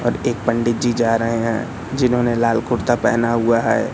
और एक पंडित जी जा रहे है जिन्होंने लाल कुर्ता पहेना हुआ है।